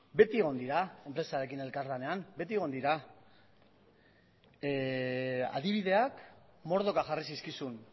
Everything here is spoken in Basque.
beti egon dira enpresarekin elkarlanean beti egon dira adibideak mordoka jarri zizkizun